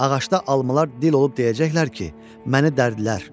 Ağacda almalar dil olub deyəcəklər ki, məni dərdlər.